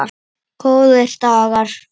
Góðir dagar.